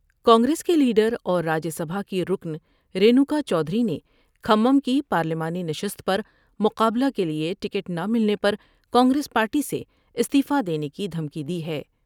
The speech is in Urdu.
کانگریس کے لیڈر اور راجیہ سبھا کی رکن رینوکا چودھری نے کھمم کی پارلیمانی نشست پر مقابلہ کے لیے ٹکٹ نہ ملے پر کانگریس پارٹی سےاستعفی دینے کی دھمکی دی ہے ۔